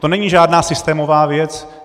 To není žádná systémová věc.